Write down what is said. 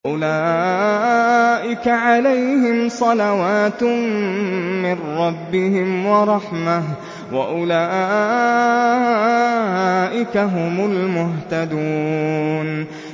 أُولَٰئِكَ عَلَيْهِمْ صَلَوَاتٌ مِّن رَّبِّهِمْ وَرَحْمَةٌ ۖ وَأُولَٰئِكَ هُمُ الْمُهْتَدُونَ